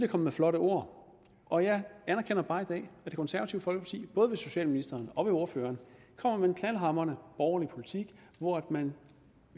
med flotte ord og jeg anerkender bare i dag at det konservative folkeparti både ved socialministeren og ordføreren kommer med en knaldhamrende borgerlig politik hvor man